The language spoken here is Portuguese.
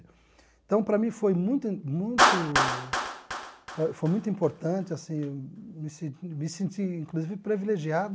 Então, para mim foi muito muito pa foi muito importante assim, me se me senti, inclusive, privilegiado.